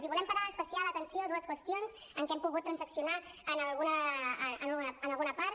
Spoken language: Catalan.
i volem parar especial atenció a dues qüestions en què hem pogut transaccionar alguna part